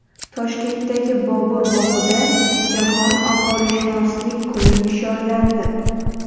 Toshkentdagi Bobur bog‘ida Jahon aholishunoslik kuni nishonlandi.